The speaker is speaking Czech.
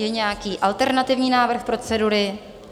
Je nějaký alternativní návrh procedury?